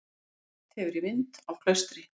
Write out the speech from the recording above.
Bætt hefur í vind á Klaustri